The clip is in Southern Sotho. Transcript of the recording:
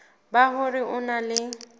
ba hore o na le